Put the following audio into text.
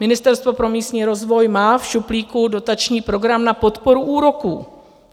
Ministerstvo pro místní rozvoj má v šuplíku dotační program na podporu úroků.